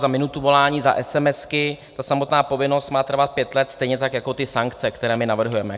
Za minutu volání, za SMS ta samotná povinnost má trvat pět let, stejně tak jako ty sankce, které my navrhujeme.